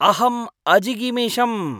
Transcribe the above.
अहम् अजिगमिषम्।